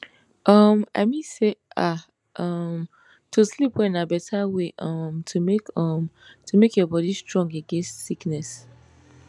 um i mean say ah um to sleep well na beta way um to make um to make your bodi strong against sickness